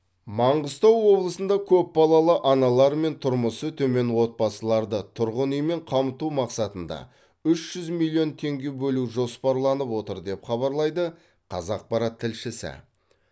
маңғыстау облысында көпбалалы аналар мен тұрмысы төмен отбасыларды тұрғын үймен қамту мақсатында үш жүз миллион теңге бөлу жоспарланып отыр деп хабарлайды қазақпарат тілшісі